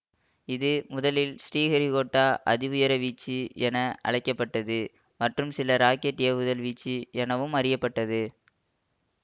இது முதலில் ஸ்ரீஹரிக்கோட்டா அதி உயர வீச்சு என அழைக்க பட்டது மற்றும் சில ராக்கெட் ஏவுதல் வீச்சு எனவும் அறிய பட்டது